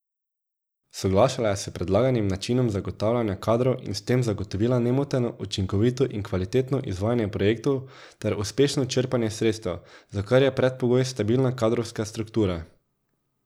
Soglašala je s predlaganim načinom zagotavljanja kadrov in s tem zagotovila nemoteno, učinkovito in kvalitetno izvajanje projektov ter uspešno črpanje sredstev, za kar je predpogoj stabilna kadrovska struktura.